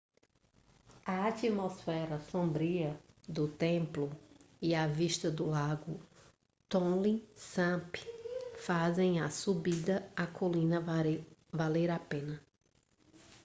a atmosfera sombria do templo e a vista do lago tonle sap fazem a subida à colina valer a pena